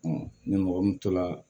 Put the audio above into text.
ni mɔgɔ min tola